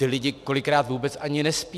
Ti lidé kolikrát vůbec ani nespí.